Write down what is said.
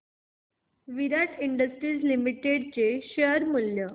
विराट industries limited चे share मूल्य